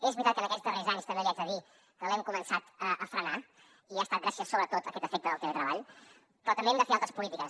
és veritat que en aquests darrers anys també l’hi haig de dir l’hem començat a frenar i ha estat gràcies sobretot a aquest efecte del treball però també hem de fer altres polítiques